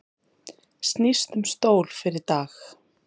Snýst um stól fyrir Dag